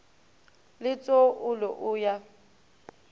le tso olo o ya